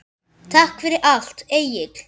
Takk fyrir allt, Egill.